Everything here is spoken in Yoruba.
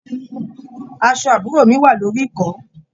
Aṣọ àbúrò mi wà lórí ìkọ́.